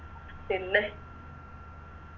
പിന്നെ